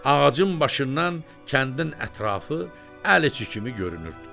Ağacın başından kəndin ətrafı əl içi kimi görünürdü.